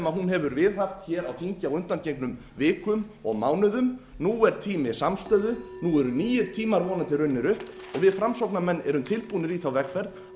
hún hefur viðhaft hér á þingi á undangengnum vikum og mánuðum nú er tími samstöðu nú eru nýir tímar vonandi runnir upp við framsóknarmenn erum tilbúnir í þá vegferð að